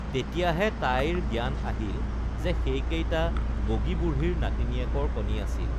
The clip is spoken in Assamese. তেতিয়াহে তাইৰ জ্ঞান আহিল যে সেইকেইটা বগী বুঢ়ীৰ নাতিনীয়েকৰ কণী আছিল